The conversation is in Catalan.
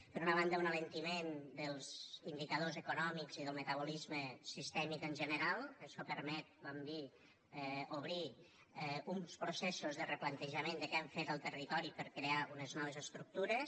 per una banda un alentiment dels indicadors econòmics i del metabolisme sistèmic en general això permet vam dir obrir uns processos de replantejament de què hem fet al territori per crear unes noves estructures